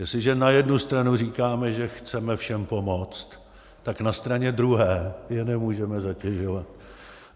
Jestliže na jednu stranu říkáme, že chceme všem pomoct, tak na straně druhé je nemůžeme zatěžovat.